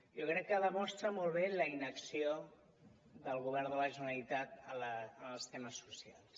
jo crec que demostra molt bé la inacció del govern de la generalitat en els temes socials